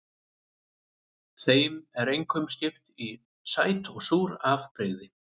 Þeim er einkum skipt í sæt og súr afbrigði.